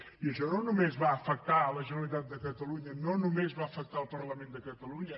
i això no només va afectar la generalitat de catalunya no només va afectar el parlament de catalunya